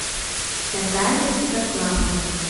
наталья святославовна